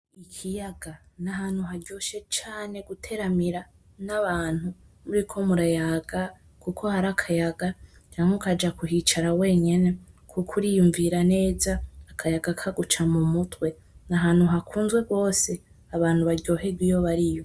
Ikiyaga nahantu haryoshe cane guteramira nabantu muriko murayaga kuko hari akayaga canke ukaja kuhicara wenyene kuko uriyumvira neza, akayaga kaguca mu mutwe, nahantu hakuzwe gose abantu baryoherwa iyo bariyo.